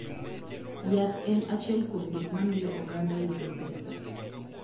Yath en achiel kuom gik mamiyo oganda yudo pesa.